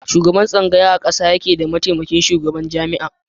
Shugaban tsangaya a ƙasa yake da mataimakin shugaban jami'a.